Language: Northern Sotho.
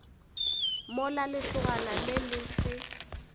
mola lesogana le le se